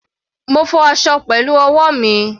Mo fọ aṣọ pẹ̀lú ọwọ́ mi.